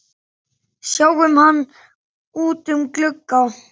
Sáum hann út um glugga.